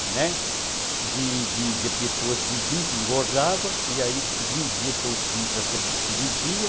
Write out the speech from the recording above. de de pessoas vizinhas que engordavam, e aí vendia toicinho para a freguesia.